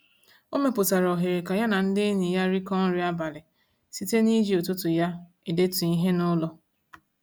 O mepụtara ohere ka ya na ndị enyi ya rịkọ nri abalị site n'iji ụtụtụ ya edetu ihe n'ụlọ.